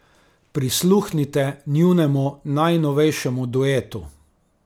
Prisluhnite njunemu najnovejšemu duetu!